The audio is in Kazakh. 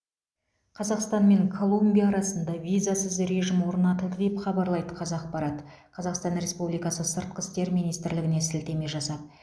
қазақстан мен колумбия арасында визасыз режім орнатылды деп хабарлайды қазақпарат қазақстан республикасы сыртқы істер министрлігіне сілтеме жасап